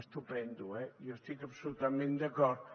estupend eh jo hi estic absolutament d’acord